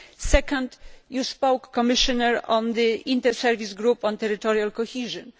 Secondly, you spoke, Commissioner, about the Inter Service Group on Territorial Cohesion.